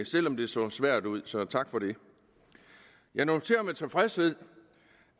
selv om det så svært ud så tak for det jeg noterer med tilfredshed